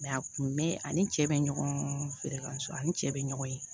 a kun bɛ ani cɛ bɛ ɲɔgɔn feere kan so ani cɛ bɛ ɲɔgɔn ye